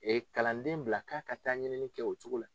Ee kalanden bila k'a ka taa ɲinini kɛ o cogo la